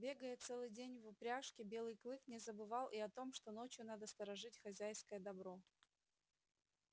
бегая целый день в упряжке белый клык не забывал и о том что ночью надо сторожить хозяйское добро